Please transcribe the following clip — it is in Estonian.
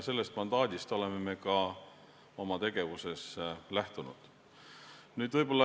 Sellest mandaadist oleme ka oma tegevuses lähtunud.